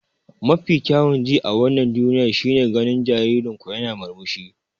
Mafi kyawun ji a wannan duniyar shine ganin jaririn ku yana murmushi.